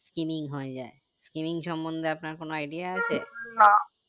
skinning হয়ে যাই skinning সমন্ধে আপনার কোনো idea আছে